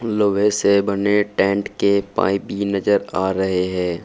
लोहे से बने टेंट के पाइप भी नजर आ रहे है।